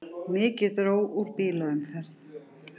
Mikið dró úr bílaumferð